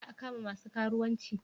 Za a kama masu karuwanci?